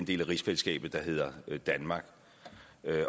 del af rigsfællesskabet der hedder danmark